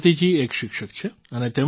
ભારતીજી એક શિક્ષક છે